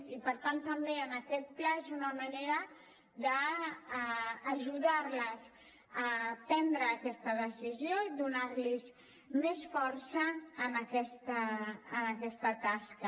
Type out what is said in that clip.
i per tant també en aquest pla és una manera d’ajudar les a prendre aquesta decisió i donar los més força en aquesta tasca